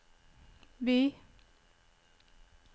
by